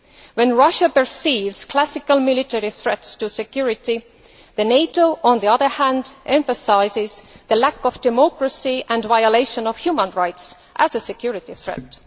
While Russia perceives classical military threats to security, NATO on the other hand emphasises the lack of democracy and violation of human rights as a security threat.